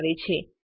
ધરાવે છે